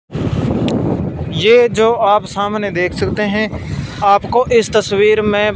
ये जो आप सामने देख सकते हैं आपको इस तस्वीर में--